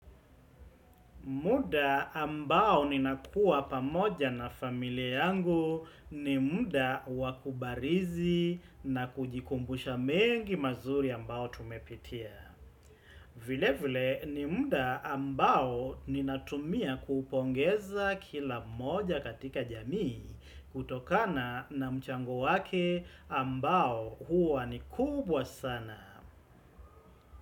Muda ambao ninakua pamoja na familia yangu ni muda wakubarizi na kujikumbusha mengi mazuri ambao tumepitia. Vile vile ni muda ambao ninatumia kuupongeza kila moja katika jamii kutokana na mchango wake ambao huwa ni kubwa sana.